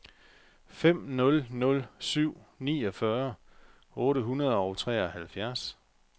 fem nul nul syv niogfyrre otte hundrede og treoghalvfjerds